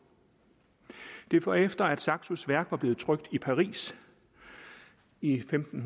det var efter at saxos værk var blevet trykt i paris i femten